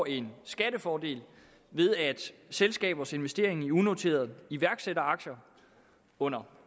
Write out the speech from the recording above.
en skattefordel ved at selskabers investeringer i unoterede iværksætteraktier under